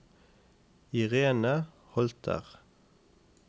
Irene Holter